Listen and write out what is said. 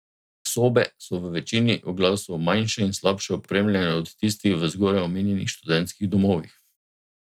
Sobe so v večini oglasov manjše in slabše opremljene od tistih v zgoraj omenjenih študentskih domovih.